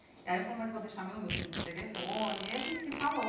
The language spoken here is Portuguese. Aí ele falou, mas eu vou deixar meu número de telefone, e a gente se falou.